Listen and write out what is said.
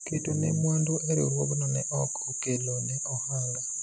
keto ne mwandu e riwruogno ne ok okelo ne ohala